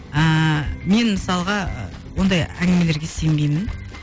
ыыы мен мысалға ондай әңгімелерге сенбеймін